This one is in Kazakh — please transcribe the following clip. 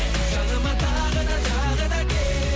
жаныма тағы да тағы да кел